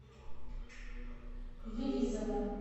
елизово